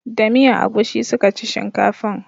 Da miyan agushi suka ci shinkafan